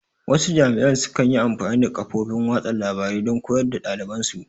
Wasu jami'an su kan yi amfani da kafofin watsa labarai don koyar da ɗaliban su